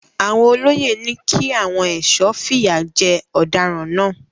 Àwọn olóyè ni kí àwọn ẹ̀sọ́ fìyà jẹ ọ̀daràn náà.